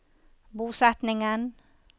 bosetningen